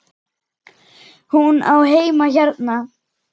Hún á heima hérna!